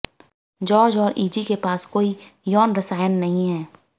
George और Izzy के पास कोई यौन रसायन नहीं है